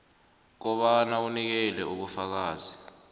kobana unikele ubufakazi